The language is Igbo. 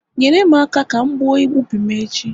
nyere m aka ka m gbuo ubi m echi